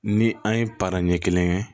Ni an ye para ɲɛ kelen kɛ